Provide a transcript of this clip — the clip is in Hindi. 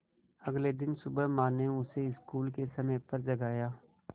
अगले दिन सुबह माँ ने उसे स्कूल के समय पर जगाया